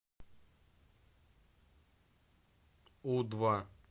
у два